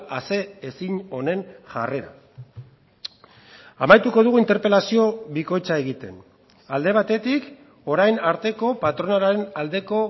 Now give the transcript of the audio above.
ase ezin honen jarrera amaituko dugu interpelazio bikoitza egiten alde batetik orain arteko patronalaren aldeko